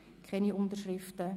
Es gibt keine Unterschriften.